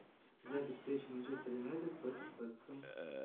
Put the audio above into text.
запись встречи манчестер юнайтед против вест хэм